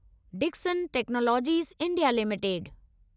Dixon Technologies India limited